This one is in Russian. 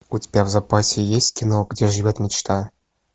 у тебя в запасе есть кино где живет мечта